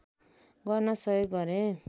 गर्न सहयोग गरे